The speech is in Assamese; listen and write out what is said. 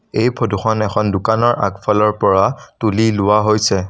এই ফটো খন এখন দোকানৰ আগফালৰ পৰা তুলি লোৱা হৈছে।